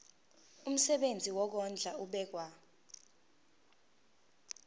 umsebenzi wokondla ubekwa